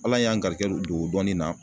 Ala y'an garijigɛ don o dɔnni na